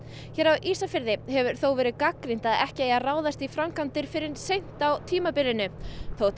hér á Ísafirði hefur það þó verið gagnrýnt að ekki eigi að ráðast í framkvæmdir fyrr en seint á tímabilinu þótt